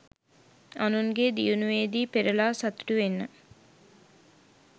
අනුන්ගේ දියුණුවේදී පෙරළා සතුටු වෙන්න.